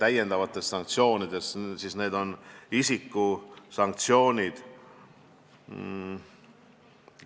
On tõesti olemas isikuid puudutavad sanktsioonid.